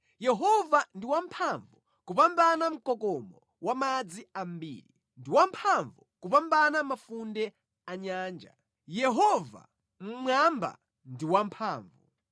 Yehova ndi wamphamvu kupambana mkokomo wa madzi ambiri, ndi wamphamvu kupambana mafunde a nyanja, Yehova mmwamba ndi wamphamvu.